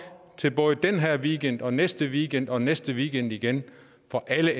til både den her weekend og næste weekend og i næste weekend igen for alle